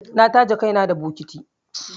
Na taje kaina da mataji